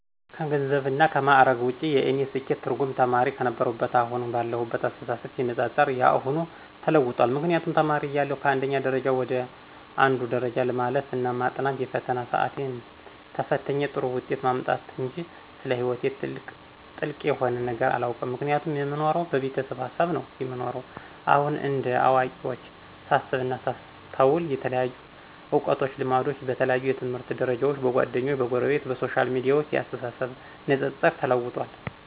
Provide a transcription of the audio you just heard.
ከገንዘብና ከምዕረግ ውጭ የእኔ የስኬት ትርጉም ተማሪ ክነበርሁትና አሁን ካለሁት አስተሳሰብ ሲነፃፀር የአሁኑ ተለውጧል ምክንያቱም ተማሪ እያለሁ ከአንድ ደረጃ ወደ አንዱ ደረጃ ማለፍ እና ማጥናት የፈተና ስአትን ተፍትኝ ጥሩ ውጤት ማምጣትጅ ስለ ሕይወቴ ጥልቅ የሆነ ነገር አላውቅም ምክንያቱም የምኖረው በቤተሰብ ሀሳብ ነው የምኖረው። አሁን እንደ አዋቂዎች ሳስብና ሳስተውል የተለያዩ እውቀቶችና ልምዶች በተለያዩ የትምህርት ደርጃዎች፣ በጓደኞቸ፣ በጎረቤት፣ በሶሻል ሚዲያዎች የአስተሳሰብ ንጽጽር ተለውጧል።